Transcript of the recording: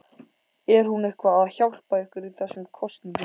Er hún eitthvað að hjálpa ykkur í þessum kosningum?